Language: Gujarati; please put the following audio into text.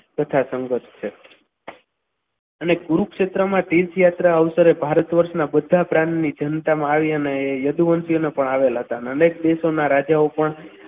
તથા સંઘર્ષ છ અને કુરુક્ષેત્રમાં તીર્થયાત્રાળુઓ ભારત વર્ષના બધા પ્રાંતની જનતા આવીને અને યદુવંશીઓ પણ આવેલા હતા અનેક દેશના રાજાઓ પણ તથા સંઘર્ષ છે.